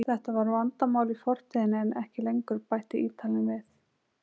Þetta var vandamál í fortíðinni en ekki lengur, bætti Ítalinn við.